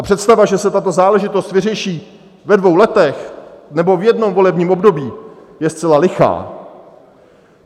A představa, že se tato záležitost vyřeší ve dvou letech nebo v jednom volebním období, je zcela lichá.